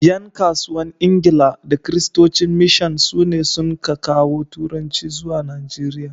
’yan kasuwan Ingila da Kiristocin mishan sune sun ka kawo turanci zuwa Najeriya